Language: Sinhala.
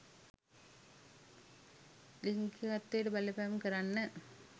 ලිංගිකත්වයට බලපෑම් කරන්න